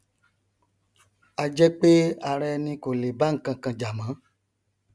ajẹpé ara ẹni kò lè bá nkankan jà mọ